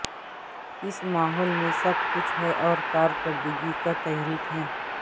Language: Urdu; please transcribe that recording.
اس ماحول میں سب کچھ ہے اور کارکردگی کو تحریک ہے